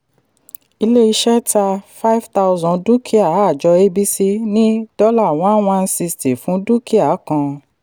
ilé iṣẹ́ ta five thousand dúkìá ajọ abc ní dollar one one sixty fún dúkìá kan.